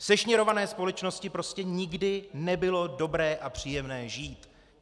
V sešněrované společnosti prostě nikdy nebylo dobré a příjemné žít.